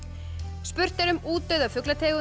spurt er um útdauða fuglategund